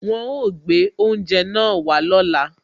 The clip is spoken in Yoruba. Wọn ó gbé oúnjẹ náà wá lóla